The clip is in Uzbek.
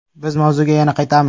Biz mavzuga yana qaytamiz...